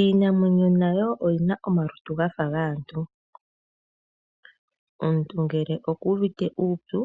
Iinamwenyo nayo oyina omalutu gafa gaantu. Omuntu ngele oku uvite uupyu